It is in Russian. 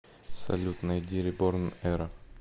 салют найди реборн эра